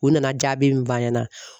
U nana jaabi min f'an ɲɛna